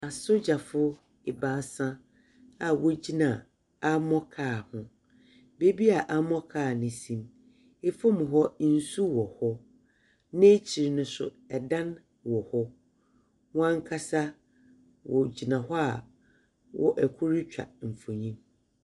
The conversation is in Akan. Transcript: Asogyafoɔ ebaasa a wogyina ammor car ho. Beebi a ammor car no si no, fam hɔ nsuo wɔ hɔ. N'ekyir no nso, dan wɔ hɔ. Wɔn ankasa wɔgyina hɔ a wɔ ɛkor retwa mfonin.